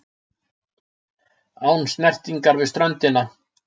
Án snertingar við ströndina.